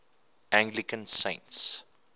anglican saints